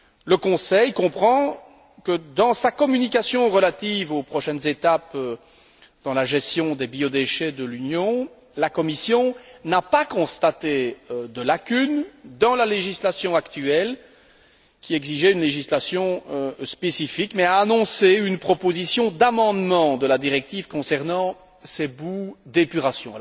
Le Conseil comprend que dans sa communication relative aux prochaines étapes dans la gestion des biodéchets de l'Union, la Commission n'a pas constaté de lacunes dans la législation actuelle qui exigeait une législation spécifique, mais a annoncé une proposition d'amendement de la directive concernant ces boues d'épuration.